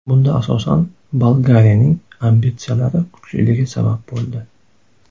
Bunda, asosan, Bolgariyaning ambitsiyalari kuchliligi sabab bo‘ldi.